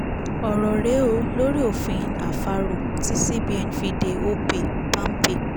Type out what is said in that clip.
ọ̀rọ̀ rè é o lórí òfin àfàrò tí cbn fi de opay palmpay